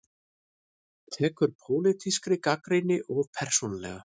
Tekur pólitískri gagnrýni of persónulega